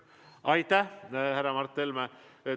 Aitäh, härra Mart Helme!